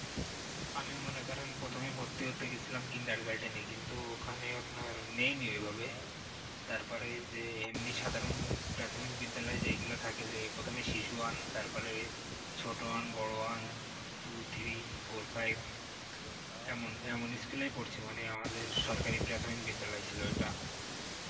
কারণ প্রাথমিক বিদ্যালয়ে যেইগুলো থাকে, যেই প্রথমেই শিশু one তারপরে ছোট one বড়ো one tow three four five এমন, এমনই school এ আমি পড়েছি মানে আমাদের সরকারি প্রাথমিক ছিল ঐটা